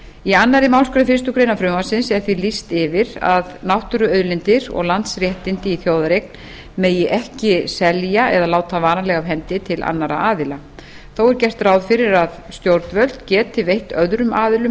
í annarri málsgrein fyrstu grein frumvarpsins er því lýst yfir að náttúruauðlindir og landsréttindi í þjóðareign megi ekki selja eða láta varanlega af hendi til annarra aðila þó er gert ráð fyrir að stjórnvöld geti veitt öðrum aðilum